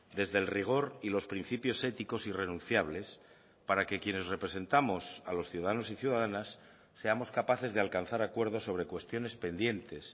desde el rigor y los principios éticos irrenunciables para que quienes representamos a los ciudadanos y ciudadanas seamos capaces de alcanzar acuerdos sobre cuestiones pendientes